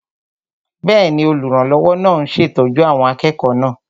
Bẹ́ẹ̀ni, olùrànlọ́wọ́ náà ń ṣètọ́jú àwọn akẹ́kọ̀ọ́ náà